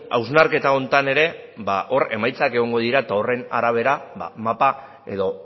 hausnarketa honetan ere ba hor emaitzak egongo dira eta horren arabera ba mapa edo